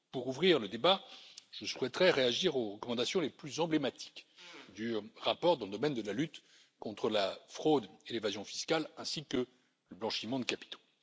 Pour ouvrir le débat, je souhaiterais réagir aux recommandations les plus emblématiques du rapport dans le domaine de la lutte contre la fraude et l'évasion fiscale ainsi que le blanchiment de capitaux.